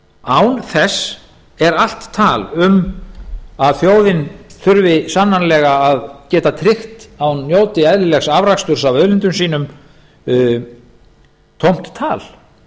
án þess er allt tal um að þjóðin þurfi sannanlega að geta tryggt að hún njóti eðlilegs afraksturs af auðlindum sínum tómt tal